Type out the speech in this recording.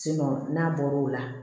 n'a bɔra o la